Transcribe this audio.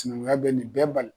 Sinankunya bɛ nin bɛɛ bali